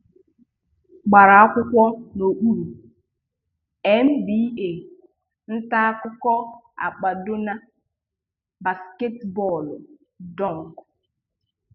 Gbara akwụkwọ N'okpuru: NBA, Nta akụkọ Akpado Na: basketibọọlụ, dunk